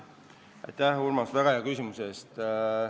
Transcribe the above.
Aitäh, Urmas, väga hea küsimuse eest!